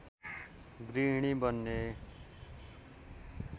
गृहणी बन्ने